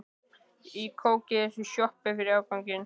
Og kók í næstu sjoppu fyrir afganginn.